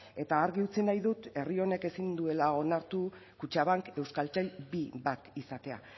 eta argi utzi nahi dut herri honek ezin duela onartu kutxabank euskaltel bi bat izatea